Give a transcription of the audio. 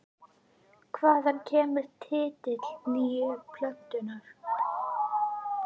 Hvaðan kemur titill nýju plötunnar?